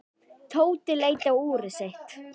Tóti leit á úrið sitt.